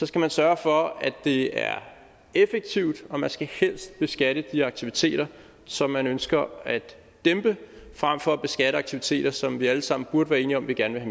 skal man sørge for at det er effektivt og man skal helst beskatte de aktiviteter som man ønsker at dæmpe frem for at beskatte aktiviteter som vi alle sammen burde være enige om vi gerne